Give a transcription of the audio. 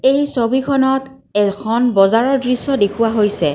এই ছবিখনত এখন বজাৰৰ দৃশ্য দেখুওৱা হৈছে।